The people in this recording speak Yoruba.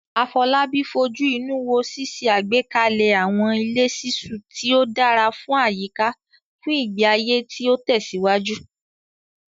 Afolabi fojú inú wo ṣíṣe àgbékalẹ̀ àwọn ilé ṣiṣu tí ó dára fún àyíká fún ìgbé ayé tí ó tẹ̀síwájú.